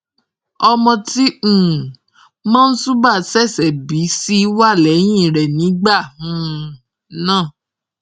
ọmọ tí um monsuba ṣẹṣẹ bí ṣì wà lẹyìn rẹ nígbà um náà